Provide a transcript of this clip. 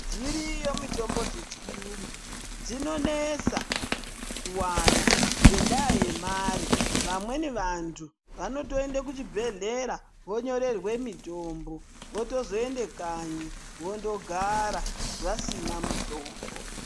Dziriyo mitombo yechiyungu dzinonesa kuwana ngendaa yemare. Vamweni vantu vanotoende kuchibhehlera vonyorerwe mitombo votozoende kanyi vondogara vasina mitombo.